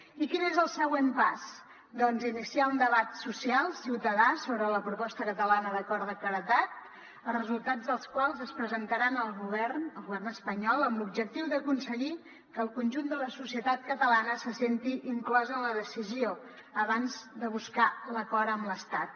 i quin és el següent pas doncs iniciar un debat social ciutadà sobre la proposta catalana d’acord de claredat els resultats del qual es presentaran al govern espanyol amb l’objectiu d’aconseguir que el conjunt de la societat catalana se senti inclosa en la decisió abans de buscar l’acord amb l’estat